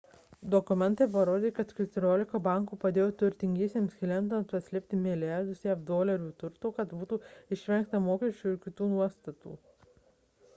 dokumentai parodė kad keturiolika bankų padėjo turtingiems klientams paslėpti milijardus jav dolerių turto kad būtų išvengta mokesčių ir kitų nuostatų